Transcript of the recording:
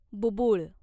बुब्बुळ